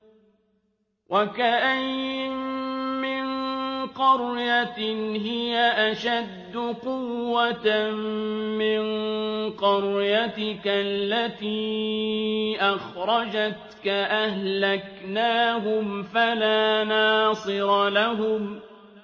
وَكَأَيِّن مِّن قَرْيَةٍ هِيَ أَشَدُّ قُوَّةً مِّن قَرْيَتِكَ الَّتِي أَخْرَجَتْكَ أَهْلَكْنَاهُمْ فَلَا نَاصِرَ لَهُمْ